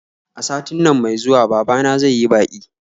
A satin nan mai zuwa babana zai yi baƙi